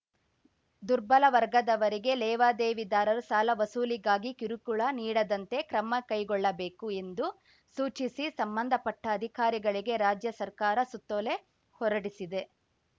ದುರ್ಬಲ ವರ್ಗದವರಿಗೆ ಲೇವಾದೇವಿದಾರರು ಸಾಲ ವಸೂಲಿಗಾಗಿ ಕಿರುಕುಳ ನೀಡದಂತೆ ಕ್ರಮ ಕೈಗೊಳ್ಳಬೇಕು ಎಂದು ಸೂಚಿಸಿ ಸಂಬಂಧಪಟ್ಟಅಧಿಕಾರಿಗಳಿಗೆ ರಾಜ್ಯ ಸರ್ಕಾರ ಸುತ್ತೋಲೆ ಹೊರಡಿಸಿದೆ